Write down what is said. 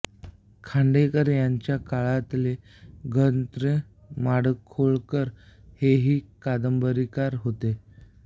खांडेकर यांच्या काळातले ग त्र्यं माडखोलकर हेही कादंबरीकार होते